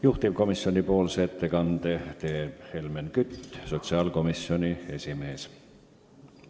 Juhtivkomisjoni nimel teeb ettekande Helmen Kütt, sotsiaalkomisjoni esimees.